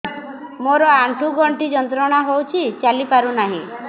ମୋରୋ ଆଣ୍ଠୁଗଣ୍ଠି ଯନ୍ତ୍ରଣା ହଉଚି ଚାଲିପାରୁନାହିଁ